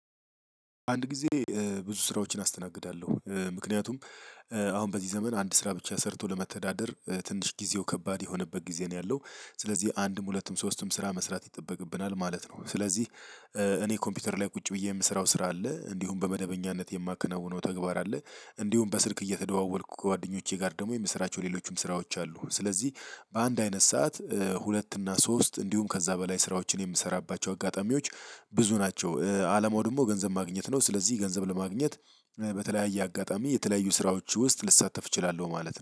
አንድ ጊዜ ብዙ ስራዎችን አስተናግዳለሁ። ምክንያቱም አሁን በዚህ ዘመን አንድ ስራ ብቻ ሰርቶ ለመተዳደር ትንሽ ጊዜው ከባድ የሆነበት ጊዜ ነው ያለው። ስለዚህ አንድም ሁለቱም ሶስትም ስራ መስራት ይጠበቅብናል ማለት ነው። ስለዚህ እኔ ኮምፒውተር ላይ ቁጭ ብዬ የምሰራው ስራ አለ። እንዲሁም በመደበኛነት የማከናውነው ተግባር አለ። እንዲሁም በስልክ እየተደዋወልኩ ከጓደኞቼ ጋር ደግሞ የምሰራቸው ሌሎችም ስራዎች አሉ። ስለዚህ በአንድ አይነት ሰዓት ሁለት እና ሶስት እንዲሁም ከዛ በላይ ስራዎችን የምሰራባቸው አጋጣሚዎች ብዙ ናቸው። አላማው ደግሞ ገንዘብ ማግኘት ነው። ስለዚህ ገንዘብ ለማግኘት በተለያየ አጋጣሚ የተለያዩ ስራዎች ውስጥ ልሳተፍ እችላለሁ ማለት ነው።